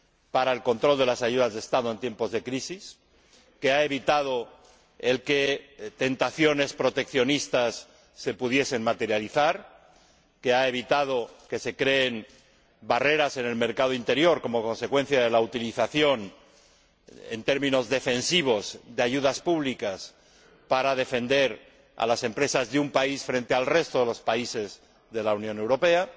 para el control de las ayudas de Estado en tiempos de crisis que ha evitado que se pudiesen materializar tentaciones proteccionistas y ha evitado que se creen barreras en el mercado interior como consecuencia de la utilización en términos defensivos de ayudas públicas para proteger a las empresas de un país frente al resto de los países de la Unión Europea.